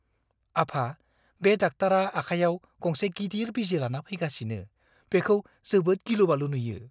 आफा, बे डाक्टारा आखाइयाव गंसे गिदिर बिजि लाना फैगासिनो। बेखौ जोबोद गिलु-बालु नुयो।